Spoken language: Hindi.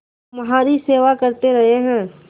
तुम्हारी सेवा करते रहे हैं